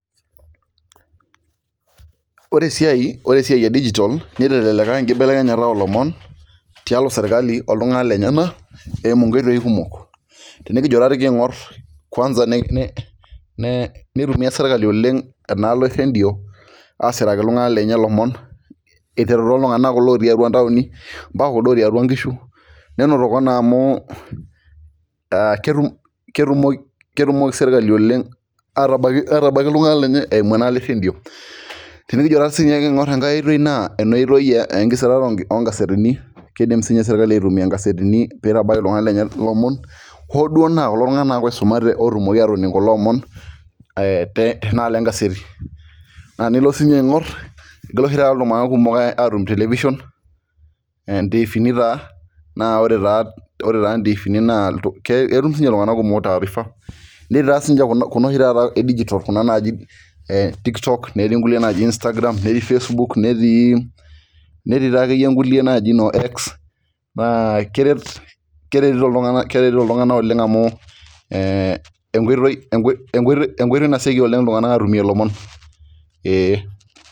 Ore esiai edijitol, niteleleka enkibelekenyata olomon, tialo sirkali oltung'anak lenyanak eimu nkoitoii kumok. Tenikijo tati king'or kwansa nitumia sirkali oleng enaalo erredio, asiraki iltung'anak lenye lomon, iteru toltung'anak kulo otii atua ntaoni, mpaka kuldo otii atua nkishu, nenotoko naa amu ketumoki serkali oleng atabaiki iltung'anak lenye eimu enaalo erredio. Tenikijo tati sinye king'or enkae oitoi naa enoitoi enkisirata ogazetini, kidim sinye sirkali aitumia gazetini pitabaiki iltung'anak lenye ilomon, hoduo naa kulo tung'anak nake oisumate otumoki atoning' kulo omon, tenaalo egazeti. Naa enilo sinye aing'or, igila oshi taata iltung'anak kumok atum television, intiifini taa na ore taa intiifini naa ketum sinche iltung'anak kumok taarifa, netii ta sinche kuna oshi taata edijitol kuna naji tiktok, netii nkulie naji Instagram, netii Facebook, netii, netii takeyie nkulie naji noo X, na keretito iltung'anak oleng amu enkoitoi naseki oleng iltung'anak atumie lomon. Ee.